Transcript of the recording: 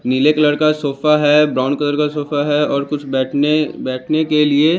नीले कलर का सोफा है ब्राउन कलर का सोफा है और कुछ बैठने बैठने के लिए--